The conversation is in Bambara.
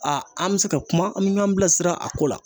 Aa an bɛ se ka kuma an bɛ ɲɔn bila sira a ko la.